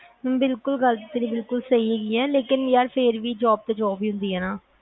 ਬਿਲਕੁਲ ਗੱਲ ਤਾ ਤੇਰੀ ਬਿਲਕੁਲ ਸਹੀ ਹੈਗੀ ਆ ਲੇਕਿਨ ਪਰ ਫਿਰ ਵੀ job ਤਾ job ਹੀ ਹੁੰਦੀ ਆ